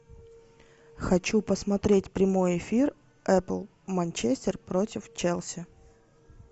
хочу посмотреть прямой эфир апл манчестер против челси